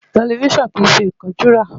Tẹlifíṣàn ò ṣe é kánjú rà.